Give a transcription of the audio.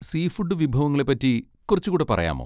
Seafood വിഭവങ്ങളെ പറ്റി കുറച്ചുകൂടെ പറയാമോ?